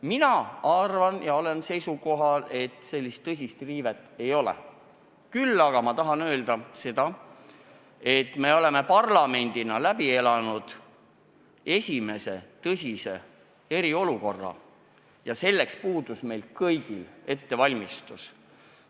Mina olen seisukohal, et sellist tõsist riivet ei ole, küll aga tahan öelda seda, et me oleme parlamendina läbi elanud esimese tõsise eriolukorra ja selleks puudus meil kõigil ettevalmistus.